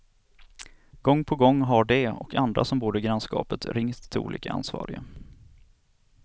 Gång på gång har de, och andra som bor i grannskapet, ringt till olika ansvariga.